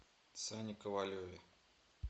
сане ковалеве